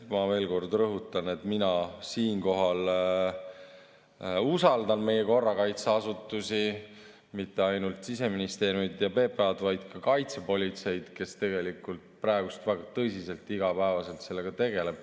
Ma veel kord rõhutan, et mina siinkohal usaldan meie korrakaitseasutusi, mitte ainult Siseministeeriumi ja PPA‑d, vaid ka kaitsepolitseid, kes praegu väga tõsiselt iga päev sellega tegeleb.